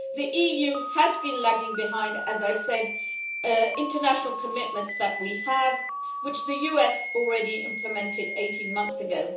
The EU has been lagging behind, as I have said, on international commitments that we have, which the US already implemented 18 months ago.